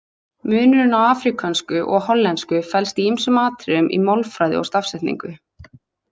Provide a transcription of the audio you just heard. Munurinn á afríkönsku og hollensku felst í ýmsum atriðum í málfræði og stafsetningu.